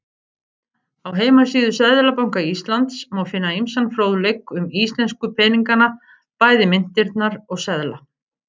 Á heimasíðu Seðlabanka Íslands má finna ýmsan fróðleik um íslensku peningana, bæði myntirnar og seðla.